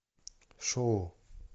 шоу